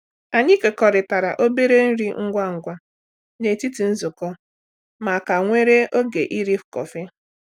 Anyị kekọrịtara obere nri ngwa ngwa n’etiti nzukọ ma ka nwere oge iri kọfị.